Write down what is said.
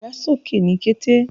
Wà sókè ní kẹ̀tẹ̀!